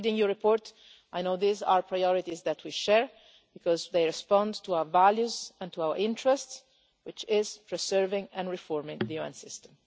Reading your report I know these are priorities that we share because they correspond to our values and to our interests, which is serving and reforming the UN system.